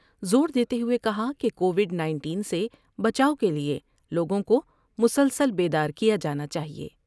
زور دیتے ہوئے کہا کہ کووڈ 19 سے بچاؤ کے لئے لوگوں کو مسلسل بیدار کیا جانا چاہئے ۔